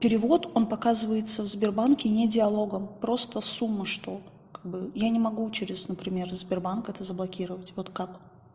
перевод он показывается в сбербанке не диалогом просто сумму что я не могу через например сбербанк это заблокировать вот как